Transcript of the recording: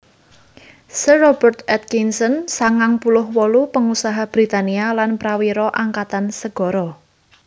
Sir Robert Atkinson sangang puluh wolu pangusaha Britania lan prawira angkatan segara